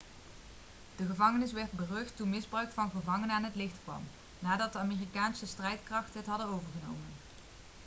de gevangenis werd berucht toen misbruik van gevangenen aan het licht kwam nadat de amerikaanse strijdkrachten het hadden overgenomen